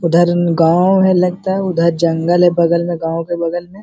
उधर गांव है लगता है। उधर जंगल है। बगल में गांव के बगल में --